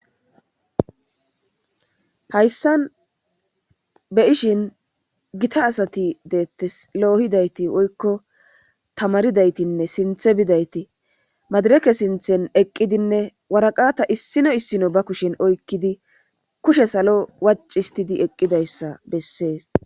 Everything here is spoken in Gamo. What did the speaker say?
hayssan be ishin gita asati deettes loohidayti woykko tamaridaytinne sinthe bidayti madireke sinthen eqqidinne waraqata issino issino ba kushen oykkidi kushe salo wacistidi eqqidayssa bessees